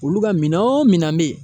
Olu ka minan o minan bɛ yen